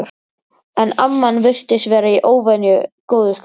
En amman virtist vera í óvenju góðu skapi.